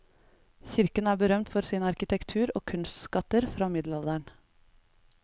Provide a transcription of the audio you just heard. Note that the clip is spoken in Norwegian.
Kirken er berømt for sin arkitektur og kunstskatter fra middelalderen.